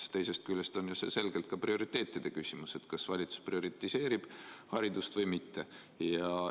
Aga teisest küljest on see selgelt ka prioriteetide küsimus: kas valitsus prioriseerib haridust või mitte?